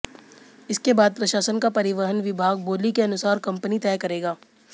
इसके बाद प्रशासन का परिवहन विभाग बोली के अनुसार कंपनी तय करेगा